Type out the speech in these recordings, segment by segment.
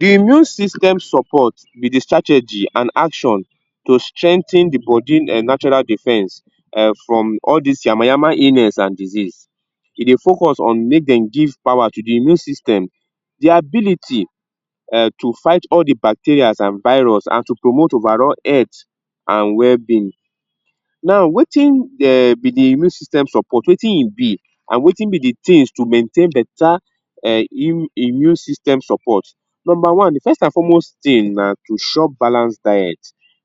immune system support be de strategy and action to strengthen the body um natural defence um from all dis yamayama illness and disease. E dey focus on make dem give power to de immune system. De ability um to fight all di bacterias and virus an to promote overall health and well-being. Now wetin dey be de immune system support, wetin e be and wetin be de things to maintain better um immune system support Number one, de first and foremost thing na to chop balance diet,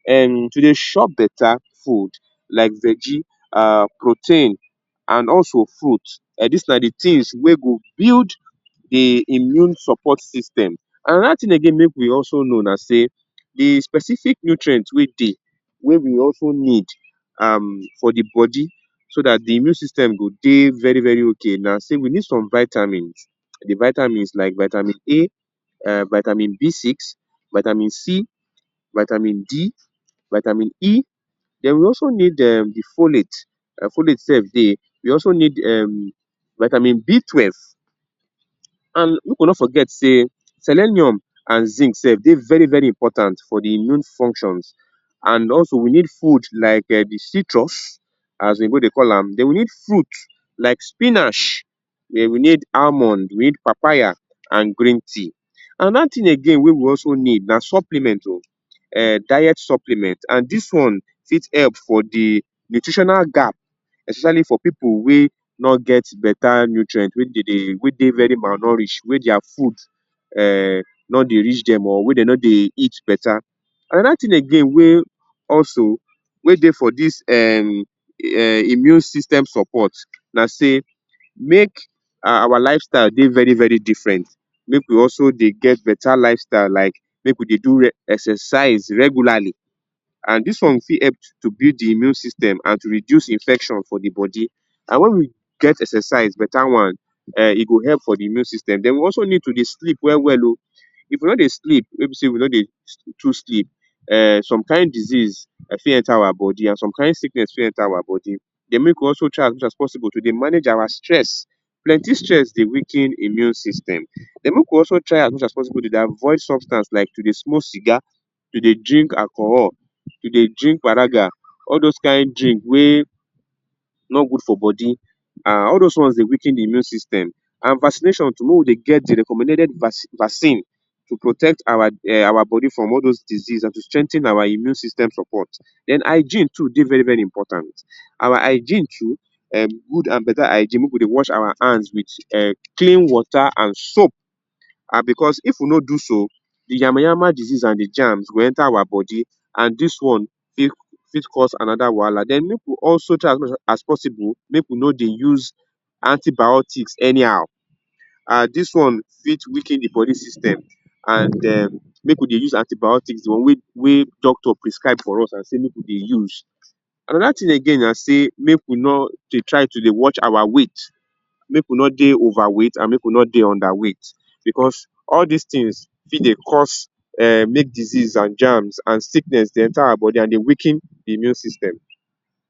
um to dey chop better food like veggie, um protein and also fruit. Dis na de things wey go build de immune support system. Another thing again make we also know na sey de specific nutrient wey dey wey we also need um for de body so dat the immune system go dey very very okay na sey we need some vitamins; de vitamins like vitamin A um vitamin B6, vitamin C, vitamin D, vitamin E. Den we also need um de folates. Folate sef dey. We also need um vitamin B twelve and make we no forget sey selenium and zinc sef dey very very important for de immune functions and also we need food like um di citrus as oyibo dey call am. We need fruit like spinach. Den, we need almond, we need papaya and green tea. Another thing again wey we also need na supplement oo um diet supplement and dis one fit help for de nutritional gap especially for pipu wey no get better nutrient wey dey dey wey dey very malnourished, wey their food um no dey reach dem or wey dey no dey eat better. Another thing again wey also wey dey for dis um um immune system support na sey make our lifestyle dey very very different, make we also dey get better lifestyle like make we dey do exercise regularly and dis one fit help to build de immune system and to reduce infection for the body and wen we get exercised, better one, um e go help for de immune system. Den we also need to dey sleep well well oo. If we no dey sleep wey be sey we no dey too sleep um some kain disease fit enter our body and some kain sickness fit enter our body. Den make we also try as much as possible to dey manage our stress. Plenty stress dey weaken immune system. Den make we also try as much as possible to dey avoid substance like to dey smoke cigar, to dey drink alcohol, to dey drink paraga, all those kain drink wey no good for body an all those things dey weaken de immune system and vaccination too, make we dey get the recommended vaccine to protect our um our body from all those disease an to strengthen our immune system support. Den hygiene too dey very very important. Our hygiene too um good and better hygiene, make we dey wash our hands wit um clean water and soap and because if we no do so, de nyamanyama disease and germs go enter our body and dis one fit fit cause another wahala. Den make we also try as possible make we no dey use antibiotics anyhow. Um dis one fit weaken the body system and um make we dey use antibiotics wey wey doctor prescribe for us an say make we dey use. Another thing na sey make we no dey try to watch our weight. Make we no dey overweight and make we no dey underweight because all dis things fit dey cause um make disease and germs and sickness dey enter our body and dey weaken the immune system.